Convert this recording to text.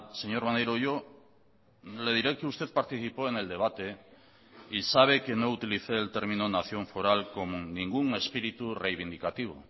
señor maneiro yo le diré que usted participó en el debate y sabe que no utilicé el término nación foral con ningún espíritu reivindicativo